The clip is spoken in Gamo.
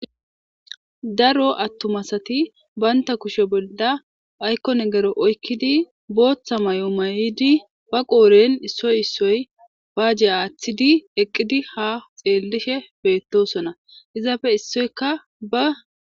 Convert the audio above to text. daro attumasati baynta kushe bolla aykkone gero oykkidi booththa may7o mayidi ba qooren issoy issoy baajje aaththidi eqqidi ha xeellishe beettosona izaafe issoykka ba